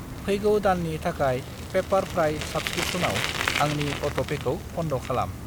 फैगौ दाननि थाखाय पेपारप्राइ साब्सक्रिपसनाव आंनि अट'पेखौ बन्द खालाम।